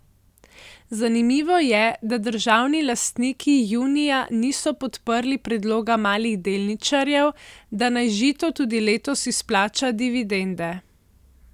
Zanimivo je, da državni lastniki junija niso podprli predloga malih delničarjev, da naj Žito tudi letos izplača dividende.